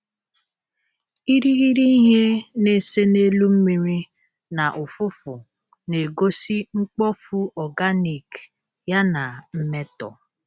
Irighiri ihe na-ese n'elu mmiri na ụfụfụ na-egosi mkpofu organic ya na mmetọ